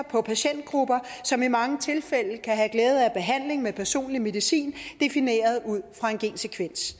på patientgrupper som i mange tilfælde kan have glæde af behandling med personlig medicin defineret ud fra en gensekvens